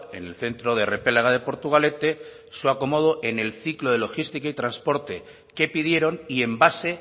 en el centro de repélega de portugalete su acomodo en el ciclo logístico y transporte que pidieron y en base